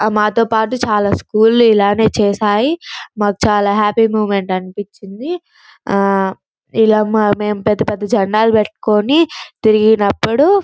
మాతో పటు చాలా స్కూల్ లు ఇలానే చేసాయి మాకు చల్ హ్యాపీ మూమెంట్ అనిపించింది ఆ ఇలా మెం పెద్ద పెద్ద జండాలు పట్టుకొని తిరిగినప్పుడు --